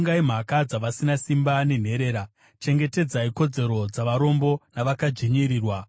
Tongai mhaka dzavasina simba nenherera; chengetedzai kodzero dzavarombo navakadzvinyirirwa.